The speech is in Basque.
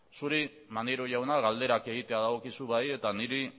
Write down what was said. zuri manerio jauna galderak egitea dagokizu bai eta niri